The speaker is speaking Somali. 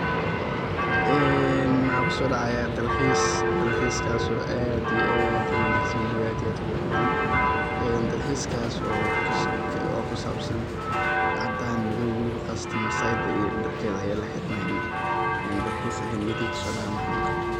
Een waxa kuso dacaya dalxis, dalxiskasko aad iyo aad uu wanagsan waliba aad iyo aad u qurux badan een dalxiskasko oo kusabsan cadan madow waliba qasatan Masaida iyo darkeda aya laxiranaya dalxis ayaa niyadeyda kuso dacaya markano kale.